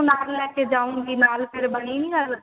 ਨਾਲ ਲੈਕੇ ਜਾਓਗੇ ਨਾਲ ਫ਼ਿਰ ਬਣੀ ਨਹੀਂ ਗੱਲ